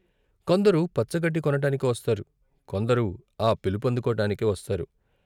కొందరు పచ్చ గడ్డి కొనటానికి వస్తారు, కొందరు ఆ పిలుపులందుకోటానికి వస్తారు.